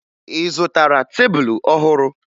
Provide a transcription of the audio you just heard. Ị zụtara tebulu ọhụrụ?